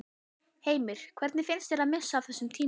Heimir: Hvernig finnst þér það að missa af þessum tímum?